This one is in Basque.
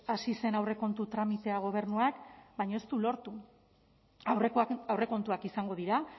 hasi zen aurrekontu tramitea gobernuak baina ez du lortu aurrekoak aurrekontuak izango dira